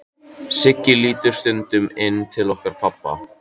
Siggi lítur stundum inn til okkar pabba.